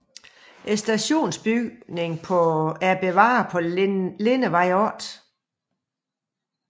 Stationsbygningen er bevaret på Lindevej 8